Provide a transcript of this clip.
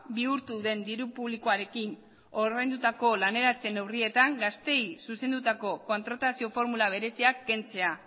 bihurtu den diru publikoarekin ordaindutako laneratzeen neurrietan gazteei zuzendutako kontratazio formula bereziak kentzea